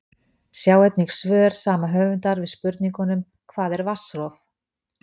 Sjá einnig svör sama höfundar við spurningunum: Hvað er vatnsrof?